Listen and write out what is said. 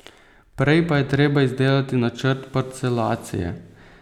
Prej pa je treba izdelati načrt parcelacije.